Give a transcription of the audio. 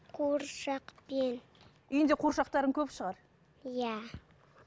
куыршақпен үйіңде қуыршақтарың көп шығар иә